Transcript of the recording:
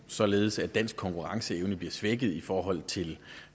således at dansk konkurrenceevne bliver svækket i forhold til